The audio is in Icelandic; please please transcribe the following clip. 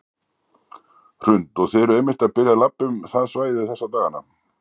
Hrund: Og þið eruð einmitt að byrja að labba um það svæði þessa dagana?